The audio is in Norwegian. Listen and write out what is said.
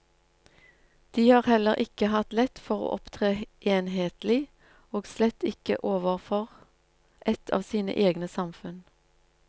De har heller ikke hatt lett for å opptre enhetlig, og slett ikke overfor ett av sine egne samfunn.